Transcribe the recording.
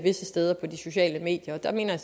steder på de sociale medier der mener